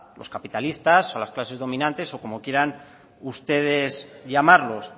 los capitalistas o a las clases dominantes o como quieran ustedes llamarlos